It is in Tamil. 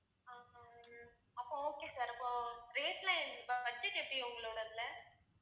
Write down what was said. உம் அப்போ okay sir. அப்போ rate எல்லாம் budget எப்படி உங்களோடதுல?